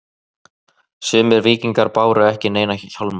Sumir víkingar báru ekki neina hjálma.